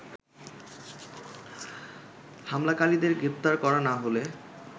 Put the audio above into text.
হামলাকারীদের গ্রেপ্তার করা না হলে